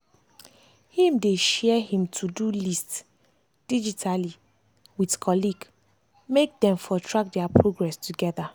him dey share him todo lost digitally with colleague make them for track their progress together.